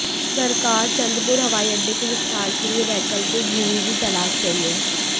सरकार चंद्रपुर हवाईअड्डे के विस्तार के लिए वैकल्पिक भूमि भी तलाश रही है